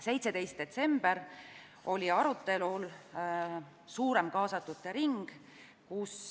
17. detsembril osales arutelul suurem kaasatute ring.